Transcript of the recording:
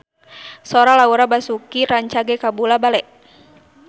Sora Laura Basuki rancage kabula-bale